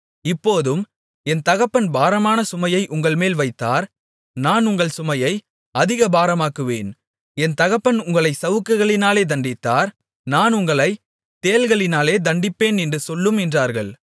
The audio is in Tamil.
இப்போதும் என் தகப்பன் பாரமான சுமையை உங்கள்மேல் வைத்தார் நான் உங்கள் சுமையை அதிக பாரமாக்குவேன் என் தகப்பன் உங்களைச் சவுக்குகளினாலே தண்டித்தார் நான் உங்களைத் தேள்களினாலே தண்டிப்பேன் என்று சொல்லும் என்றார்கள்